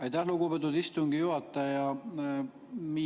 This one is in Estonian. Aitäh, lugupeetud istungi juhataja!